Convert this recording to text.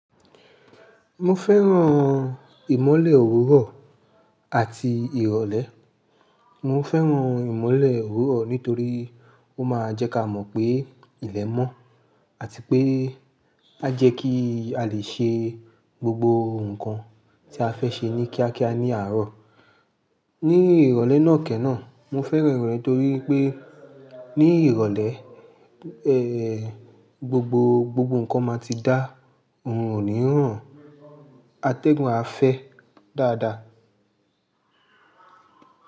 Mo fẹ́ràn ìmọ́lẹ̀ òwúrọ̀ àti ìrọ̀lẹ́. Mo fẹ́ràn ìmọ́lẹ̀ òwúrọ̀ nítorí ó máa ń jẹ́ ká mọ̀ pé ilẹ̀ mọ́ àti pé a jẹ́ kí á lè ṣe gbogbo nǹkan tí a fẹ́ ṣe ní kíákíá ní àárọ̀. Ní ìrọ̀lẹ́ náà kẹ́ náà, mo fẹ́ràn ìrọ̀lẹ́ torí pé ní ìrọ̀lẹ́, gbogbo, gbogbo nǹkan máa ti dá, orun ò ní rọ̀n, atẹ́gun á fẹ́ dáadáa.